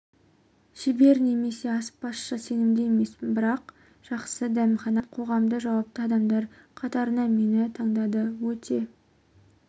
шебер немесе аспазшы сенімді емеспін жақсы бір дәмханада официант қоғамдық жауапты адамдар қатарына мені таңдады өте